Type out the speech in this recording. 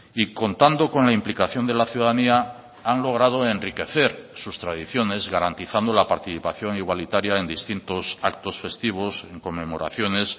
y contando con la implicación de la ciudadanía han logrado enriquecer sus tradiciones garantizando la participación igualitaria en distintos actos festivos en conmemoraciones